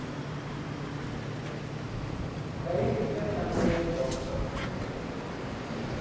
त्याही पेक्षा चांगली आहे long term investment